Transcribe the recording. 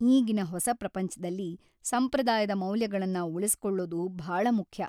ಈಗಿನ ಹೊಸ ಪ್ರಪಂಚ್ದಲ್ಲಿ ಸಂಪ್ರದಾಯದ ಮೌಲ್ಯಗಳನ್ನ ಉಳಿಸ್ಕೊಳ್ಳೋದು ಭಾಳ ಮುಖ್ಯ.